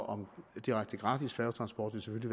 om en direkte gratis færgetransport vil